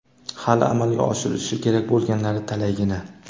hali amalga oshirilishi kerak bo‘lganlari talaygina.